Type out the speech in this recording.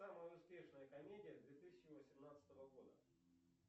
самая успешная комедия две тысячи восемнадцатого года